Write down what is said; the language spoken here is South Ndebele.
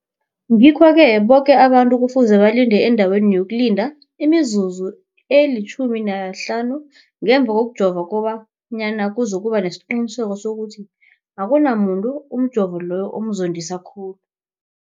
Ngikho-ke boke abantu kufuze balinde endaweni yokulinda imizuzu eli-15 ngemva kokujova, koba nyana kuzokuba nesiqiniseko sokuthi akunamuntu umjovo loyo omzondisa khulu.